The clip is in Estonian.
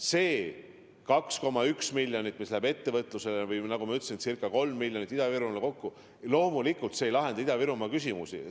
See 2,1 miljonit, mis läheb ettevõtlusele, või nagu ma ütlesin, ca 3 miljonit Ida-Virumaale kokku – loomulikult see ei lahenda Ida-Virumaa küsimusi.